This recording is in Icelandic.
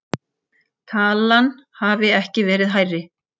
Talan hafi ekki verið hærri